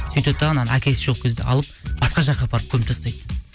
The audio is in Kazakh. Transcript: сөйтеді дағыны анау әкесі жоқ кезде алып басқа жаққа апарып көміп тастайды